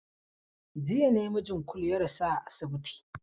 Jiya ne mijin Kulu ya rasu a asibiti.